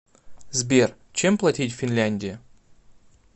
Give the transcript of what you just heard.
сбер чем платить в финляндии